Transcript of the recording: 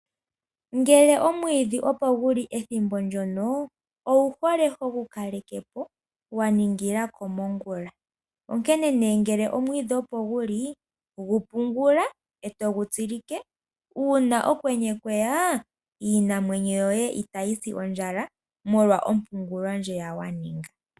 Ngele omwiidhi opo gu li ethimbo ndyono owu hole hogu kaleke po wa ningila komongula, onkene nduno ngele omwiidhi opo gu li gu pungula e to gu tsilike. Uuna okwenye kwe ya iimuna yoye itayi si ondjala molwa ompungulo ndjiya wa ninga.